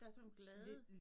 Der sådan nogen glade